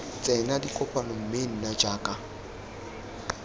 tsena dikopano mme nna jaaka